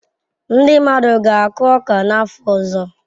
Ndị mmadụ ga-akụ ọka n'afọ ọzọ.